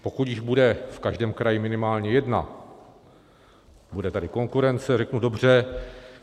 Pokud jich bude v každém kraji minimálně jedna, bude tady konkurence, řeknu dobře.